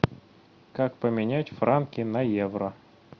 как поменять франки на евро